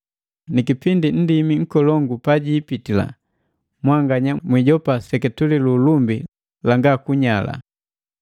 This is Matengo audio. Ni kipindi Nndimi Nkolongu pajipitila, mwanganya mwiijopa liseketule lu ulumbi langa kunyala.